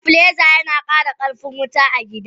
Stabiliser yana kara karfin kayan wuta a gida.